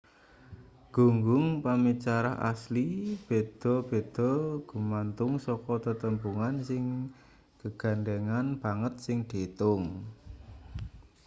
gunggung pamicara asli beda-beda gumantung saka tetembungan sing gegandhengan banget sing diitung